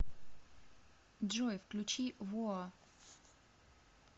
джой включи воа